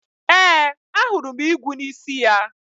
Ee, ahụrụ m igwu n'isi ya.